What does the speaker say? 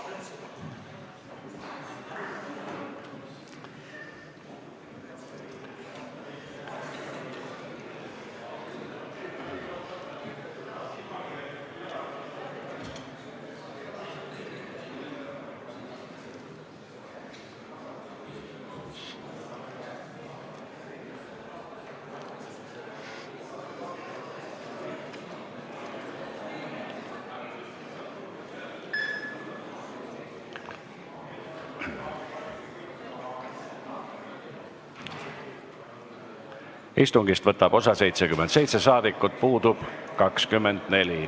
Kohaloleku kontroll Istungist võtab osa 77 rahvasaadikut, puudub 24.